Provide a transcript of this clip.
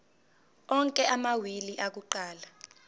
onke amawili akuqala